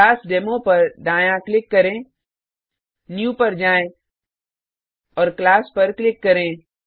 class demo पर दायाँ click करें न्यू पर जाएँ और क्लास पर क्लिक करें